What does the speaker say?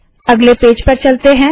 अगले पेज पर चलते है